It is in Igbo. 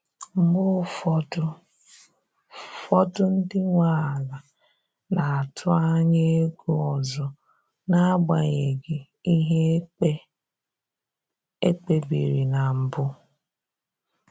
Mgbe ụfọdụ fọdụ ndị nwe ala na-atụ anya ego ọzọ n’agbanyeghị ihe ekpe ekpe biri na mbụ.